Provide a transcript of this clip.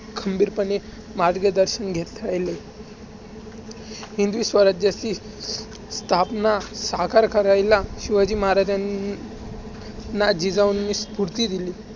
खंबीरपणे मार्गदर्शन घेत राहिले. हिंदवी स्वराज्याची स्थापना साकार करायला शिवाजी महाराजांना जिजाऊंनी स्फूर्ती दिली.